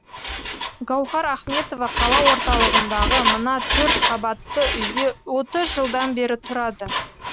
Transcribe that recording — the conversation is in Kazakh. гауһар ахметова қала орталығындағы мына төртқабатты үйде отыз жылдан бері тұрады